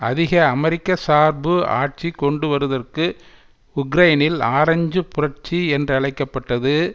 அதிக அமெரிக்கசார்பு ஆட்சி கொண்டுவருதற்கு உக்ரைனில் ஆரஞ்சு புரட்சி என்றழைக்க பட்டது